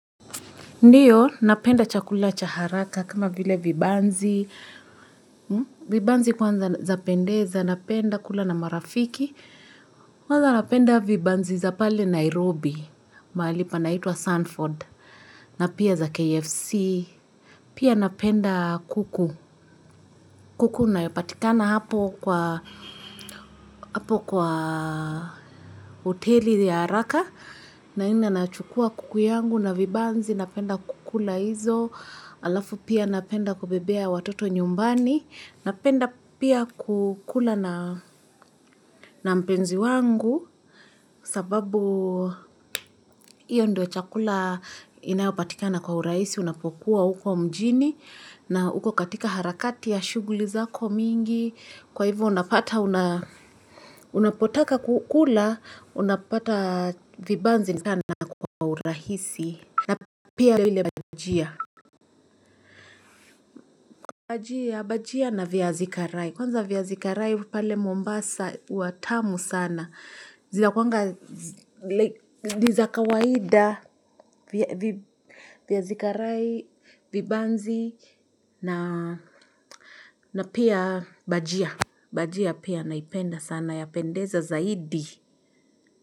Ndiyo, napenda chakula cha haraka kama vile vibanzi. Vibanzi kwanza zapendeza, napenda kula na marafiki. Kwanza napenda vibanzi za pale Nairobi, mahali panaitwa Sanford. Na pia za KFC. Pia napenda kuku. Kuku inayopatikana hapo kwa hoteli ya haraka. Naenda nachukua kuku yangu na vibanzi, napenda kukula hizo. Halafu pia napenda kubebea watoto nyumbani, napenda pia kukula na mpenzi wangu sababu hiyo ndio chakula inayopatikana kwa urahisi unapokuwa huko mjini na huko katika harakati ya shughuli zako mingi kwa hivyo unapata unapotaka kukula unapata vibanzi sana kwa uraisi na pia lile bajia Bajia na viazi karai. Kwanza viazi karai pale Mombasa huwa tamu sana. Zinakuanga, ni za kawaida, viazi karai, vibanzi na pia bajia. Bajia pia naipenda sana yapendeza zaidi.